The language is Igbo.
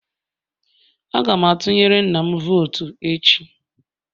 Aga m atunyere nna'm vootu echi